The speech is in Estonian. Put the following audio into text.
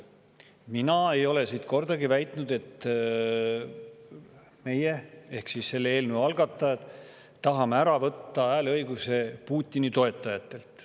Mina ei ole siit kordagi väitnud, et meie – ehk selle eelnõu algatajad – tahame ära võtta hääleõiguse Putini toetajatelt.